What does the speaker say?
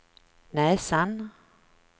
näsan